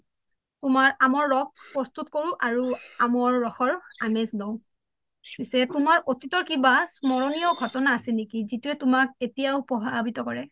তোমাৰ আমৰ ৰস প্ৰস্তুত কৰোঁ আৰু আমৰ ৰসৰ আমেজ লওঁ পিছে তোমাৰ আতিতৰ কিবা স্মৰণীয় ঘটনা আছে নেকি যিটোয়ে তোমাক এতিয়াও প্ৰভাৱিত কৰে